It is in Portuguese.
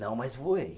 Não, mas voei.